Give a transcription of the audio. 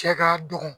Cɛ ka dɔgɔ